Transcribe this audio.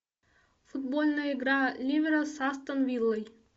футбольная игра ливера с астон виллой